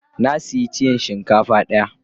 Na siya tiyan shinkafa daya.